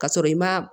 Ka sɔrɔ i ma